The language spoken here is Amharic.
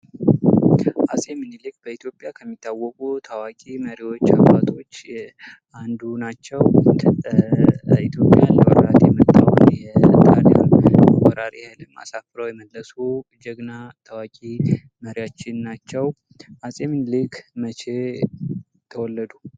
አፄ ምኒልክ በኢትዮጵያ ከሚታወቁ ታዋቂ መሪዎች አባቶች አንዱ ናቸው። ኢትዮጵያን ሊወራት ምንድ የመጣውን ወራሪ ኃይል አሳፍረው የመለሱ ጀግና ታዋቂ መሪያችን ናቸው። ሚኒሊክ መቼ ተወለዱ?